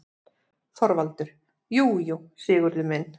ÞORVALDUR: Jú, jú, Sigurður minn.